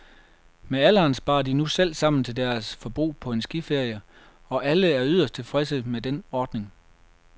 Med alderen sparer de nu selv sammen til deres forbrug på en skiferie, og alle er yderst tilfredse med den ordning.